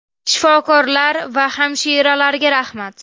Shifokorlar va hamshiralarga rahmat.